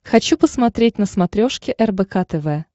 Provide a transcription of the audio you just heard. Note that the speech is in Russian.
хочу посмотреть на смотрешке рбк тв